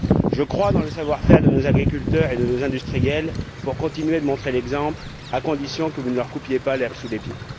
Je crois dans le savoir faire de nos agriculteurs et de nos industriels pour continuer de montrer l'exemple, à condition que vous ne leur coupiez pas l'herbe sous le pied.